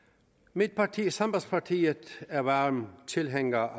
mit parti sambandspartiet er varm tilhænger